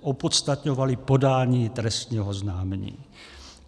opodstatňovaly podání trestního oznámení.